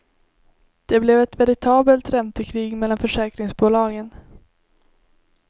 Det blev ett veritabelt räntekrig mellan försäkringsbolagen.